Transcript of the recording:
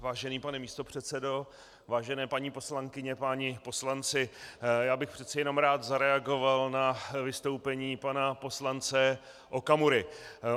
Vážený pane místopředsedo, vážené paní poslankyně, páni poslanci, já bych přece jenom rád zareagoval na vystoupení pana poslance Okamury.